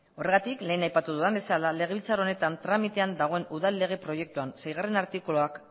horregatik lehen aipatu dudan bezala legebiltzar honetan tramitean dagoen udal lege proiektuan seigarrena artikuluak